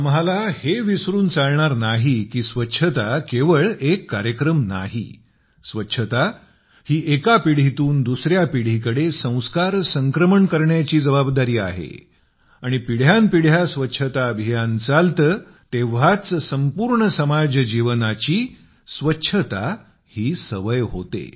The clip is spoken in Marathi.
आम्हाला हे विसरून चालणार नाही की स्वच्छता केवळ एक कार्यक्रम नाही स्वच्छता ही एका पिढीतून दुसऱ्या पिढीकडे संस्कार संक्रमण करण्याची जबाबदारी आहे आणि पिढ्यानपिढ्या स्वच्छता अभियान चालते तेव्हाच संपूर्ण समाजजीवनाचा स्वच्छता हा स्वभाव बनतो